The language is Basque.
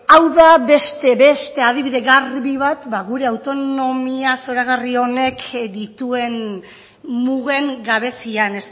hau da beste beste adibide garbi bat gure autonomiaz zoragarri honek dituen mugen gabezian